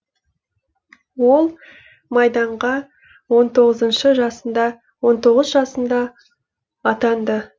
ол майданға он тоғыз жасында атанды